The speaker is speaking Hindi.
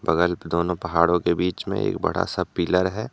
बगल दोनो पहाड़ो के बीच में एक बड़ा सा पिलर है।